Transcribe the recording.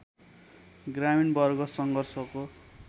ग्रामीण वर्ग सङ्घर्षको